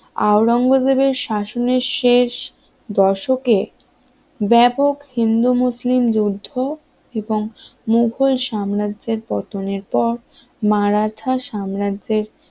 আওরঙ্গজেবের শাসনের শেষ দশকে ব্যাপক হিন্দু মুসলিম যুদ্ধ এবং মুঘল সাম্রাজ্যের পতনের পর মারাঠা সাম্রাজ্যের শাসনের শেষ